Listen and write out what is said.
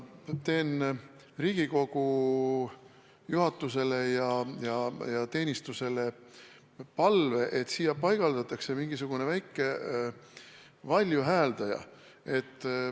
Teen Riigikogu juhatusele ja kantseleiteenistusele palve, et siia paigaldataks mingisugune väike valjuhääldi.